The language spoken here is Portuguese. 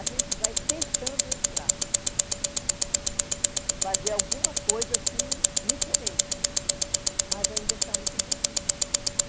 A gente vai tentando entrar, fazer alguma coisa assim diferente, mas ainda está muito difícil.